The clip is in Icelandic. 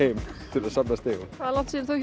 til að safna stigum hvað er langt síðan þú